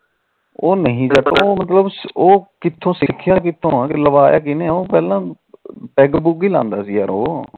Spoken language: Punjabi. ਉਹ ਨਹੀ ਮਤਲਬ ਸਿੱਖਿਆ ਕਿਥੋ ਲਵਾਇਆ ਕਿਹਨੇ ਉਹ ਪਹਿਲਾ ਪੈਗ ਪੂਗ ਹੀ ਲਾਦਾ ਸੀ ਉਹ